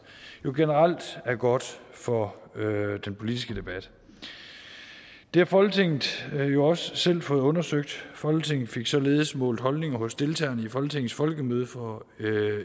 generelt er godt for den politiske debat det har folketinget jo også selv fået undersøgt folketinget fik således målt holdninger hos deltagerne i folketingets folkemøde for